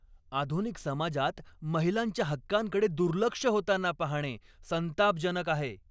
आधुनिक समाजात महिलांच्या हक्कांकडे दुर्लक्ष होताना पाहणे संतापजनक आहे.